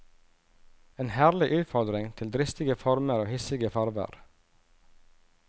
En herlig utfordring til dristige former og hissige farver.